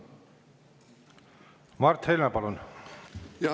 Mart Helme, palun!